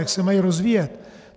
Jak se mají rozvíjet?